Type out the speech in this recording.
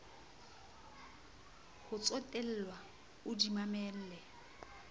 ho tsotellwa o di mamelle